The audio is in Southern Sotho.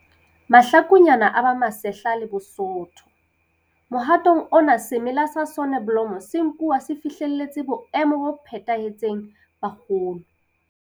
Mahlakunyana a ba masehla le bosootho. Mohatong ona semela sa soneblomo se nkuwa se fihlelletse boemo bo phethahetseng ba kgolo.